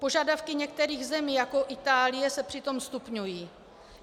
Požadavky některých zemí, jako Itálie, se přitom stupňují.